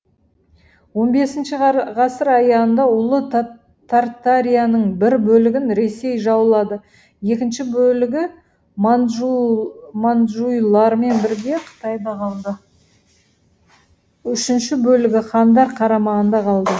он бесінші ғасыр аяғында ұлы тартарияның бір бөлігін ресей жаулады екінші бөлігі манджуйлармен бірге қытайда қалды үшінші бөлігі хандар қарамағында қалды